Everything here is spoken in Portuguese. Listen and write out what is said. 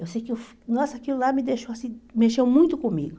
Eu sei que, nossa, aquilo lá me deixou assim, mexeu muito comigo.